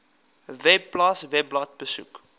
webpals webblad besoek